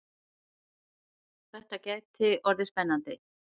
Þetta gæti orðið spennandi!